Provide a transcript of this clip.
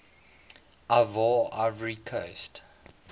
ivoire ivory coast